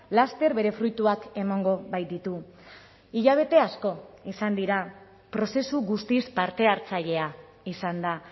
laster bere fruituak emango baititu hilabete asko izan dira prozesu guztiz parte hartzailea izan da